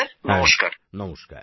হ্যাঁ নমস্কার